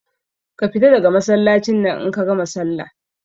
Ka fita daga Masallacin nan in kagama sallah